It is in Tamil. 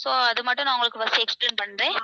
so அது மட்டும் நான் உங்களுக்கு first explain பண்றேன்.